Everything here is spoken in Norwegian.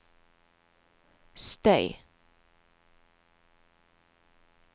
støy